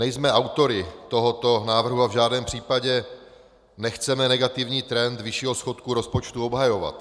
Nejsme autory tohoto návrhu a v žádném případě nechceme negativní trend vyššího schodku rozpočtu obhajovat.